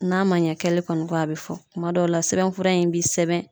N'a man ɲɛ kɛli kɔni kɔ a bi fɔ kuma dɔw la sɛbɛnfura in bi sɛbɛn